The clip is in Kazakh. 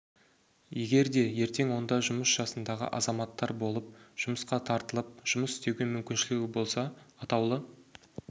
егер де ертең онда жұмыс жасындағы азаматтар болып жұмысқа тартылып жұмыс істеуге мүмкіншілігі болса атаулы